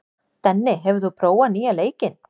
Denni, hefur þú prófað nýja leikinn?